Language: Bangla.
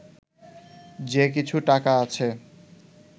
যে কিছু টাকা আছে